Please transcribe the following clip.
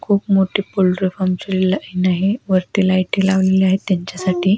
खूप मोटी पोल्टरी फार्मची लाइन आहे. वरती लाइटी लावलेल्या आहे त्यांच्यासाठी.